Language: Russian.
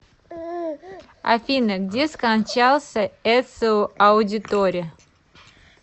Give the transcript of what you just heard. афина где скончался эцио аудиторе